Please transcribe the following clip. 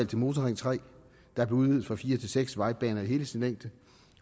det motorring tre der blev udvidet fra fire til seks vejbaner i hele sin længde